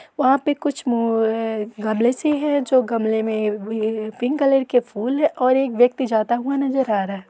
वहाँ पे कुछ मु अ अ गमले से है जो गमले में व ये पिक कलर के फूल और एक व्यक्ति जाता हुआ नजर आ रहा --